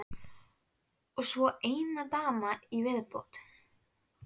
Og svo ein dama í viðbót.